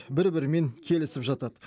бір бірімен келісіп жатады